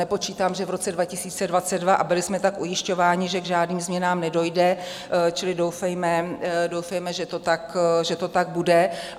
Nepočítám, že v roce 2022, a byli jsme tak ujišťováni, že k žádným změnám nedojde, čili doufejme, že to tak bude.